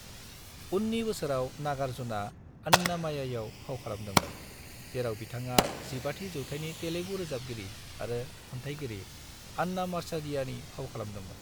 उननि बोसोराव, नागार्जुनआ अन्नामय्याआव फाव खालामदोंमोन, जेराव बिथाङा 15थि जौथायनि तेलुगु रोजाबगिरि आरो खन्थायगिरि अन्नामाचार्यनि फाव खालामदोंमोन।